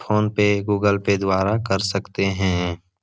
PhonePe Google Pay द्वारा कर सकते हैं।